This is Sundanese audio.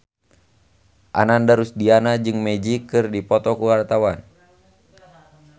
Ananda Rusdiana jeung Magic keur dipoto ku wartawan